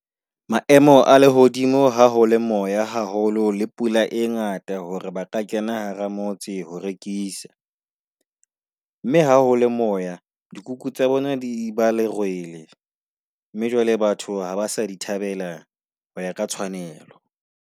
Maemo a lehodimo ha ho le moya haholo le pula e ngata hore ba ka kena hara motse ho rekisa mme ha hole moya dikuku tsa bona di ba lerwele mme jwale batho ha ba sa di thabela ho ya ka tshwanelo.